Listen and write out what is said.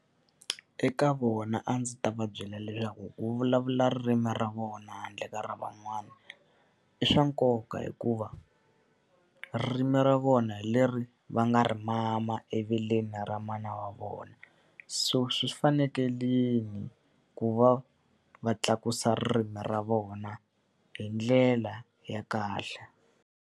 Eka vona a ndzi ta va byela leswaku ku vulavula ririmi ra vona handle ka ra van'wana i swa nkoka hikuva, ririmi ra vona hi leri va nga ri mama eveleni ra mana wa vona. So swi fanekerile ku va va tlakusa ririmi ra vona hi ndlela ya kahle.